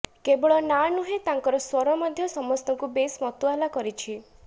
କେବଳ ନାଁ ନୁହେଁ ତାଙ୍କର ସ୍ୱର ମଧ୍ୟ ସମସ୍ତଙ୍କୁ ବେଶ ମତୁଆଲା କରିଛି